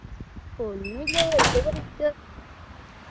ഒന്നുല്ല വെറുതെ ഇവിടെ ഇരിക്കാ